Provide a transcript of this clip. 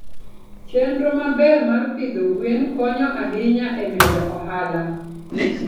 Chenro maber mar pidho gwen konyo ahinya e medo ohala.